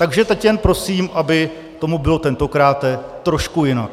Takže teď jen prosím, aby tomu bylo tentokráte trošku jinak.